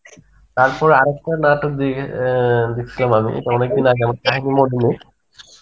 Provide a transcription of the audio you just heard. তারপর আরেকটা নাটক দেখ~ আ দেখসিলাম আমি এটা অনেকদিন আগে